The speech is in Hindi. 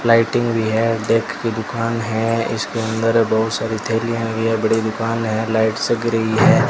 लाइटिंग भी है देख की दुकान है इसके अंदर बहुत सारी थैली हुई है बड़ी दुकान है लाइट जग रही है।